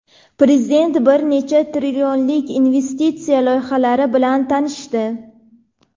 Prezident bir necha trillionlik investitsiya loyihalari bilan tanishdi.